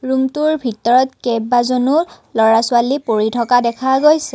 ৰুমটোৰ ভিতৰত কেইবাজনো ল'ৰা ছোৱালী পঢ়ি থকা দেখা গৈছে।